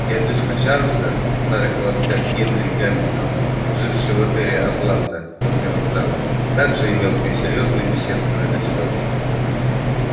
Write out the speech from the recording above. дядюшка чарлза старый холостяк генри гамильтон живший в отеле атланта возле вокзала также имел с ней серьёзную беседу на этот счёт